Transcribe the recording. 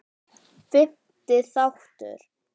Fimmti þáttur